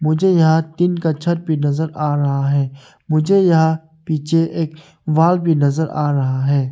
मुझे यहां टीन का छत भी नजर आ रहा है मुझे यहां पीछे एक वॉल भी नजर आ रहा हैं।